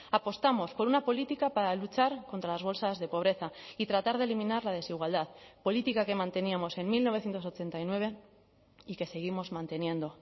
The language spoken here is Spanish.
apostamos por una política para luchar contra las bolsas de pobreza y tratar de eliminar la desigualdad política que manteníamos en mil novecientos ochenta y nueve y que seguimos manteniendo